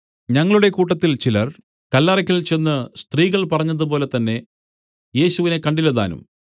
ഞങ്ങളുടെ കൂട്ടത്തിൽ ചിലർ കല്ലറയ്ക്കൽ ചെന്ന് സ്ത്രീകൾ പറഞ്ഞതുപോലെ തന്നേ യേശുവിനെ കണ്ടില്ലതാനും